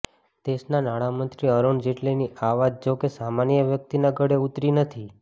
દેશના નાણામંત્રી અરુણ જેટલીની આ વાત જો કે સામાન્ય વ્યક્તિના ગળે ઊતરી નથી